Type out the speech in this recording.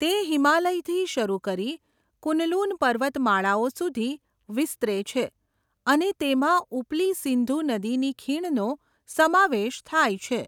તે હિમાલયથી શરૂ કરી કુનલુન પર્વતમાળાઓ સુધી વિસ્તરે છે અને તેમાં ઉપલી સિંધુ નદીની ખીણનો સમાવેશ થાય છે.